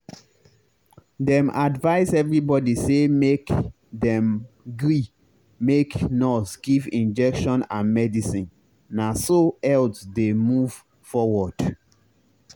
dem advice everybody say make dem gree make nurse give injection and medicine na so health dey move forward.